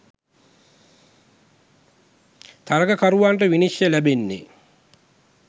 තරගකරුවන්ට විනිශ්චය ලැබෙන්නේ